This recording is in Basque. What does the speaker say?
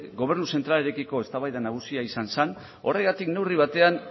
gobernu zentralarekiko eztabaida nagusia izan zen horregatik neurri batean